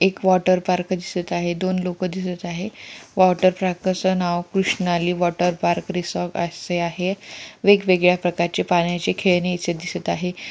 एक water park दिसत आहे दोन लोक दिसत आहे वॉटर ट्रॅकर्स चे नाव कृष्णाली रिसॉर्ट असे आहे वेगवेगळ्या प्रकारचे पाण्याचे खेळणी इथे दिसत आहे.